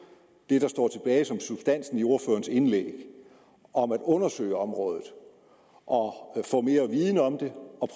det som substansen i ordførerens indlæg om at undersøge området og få mere viden om det og